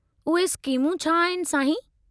उहे स्कीमूं छा आहिनि, साईं?